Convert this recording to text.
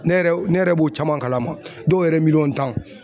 Ne yɛrɛ ne yɛrɛ b'o caman kalama dɔw yɛrɛ ye miliyɔn tan